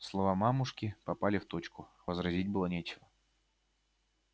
слова мамушки попали в точку возразить было нечего